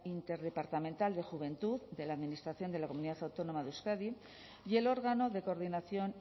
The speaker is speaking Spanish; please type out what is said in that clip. interdepartamental de juventud de la administración de la comunidad autónoma de euskadi y el órgano de coordinación